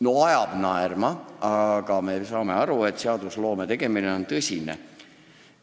No ajab naerma, aga me saame aru, et seadusloome on tõsine tegevus.